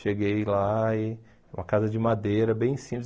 Cheguei lá e... Uma casa de madeira, bem simples.